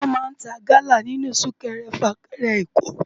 Wòn má n tá gala ninú súkèrè fákèrè Èkó